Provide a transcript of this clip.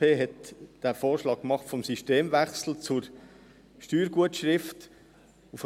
Die SP hat den Vorschlag des Systemwechsels zur Steuergutschrift gemacht.